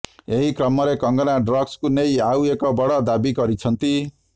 ଏହିକ୍ରମରେ କଙ୍ଗନା ଡ୍ରଗ୍ସକୁ ନେଇ ଆଉ ଏକ ବଡ଼ ଦାବି କରିଛନ୍ତି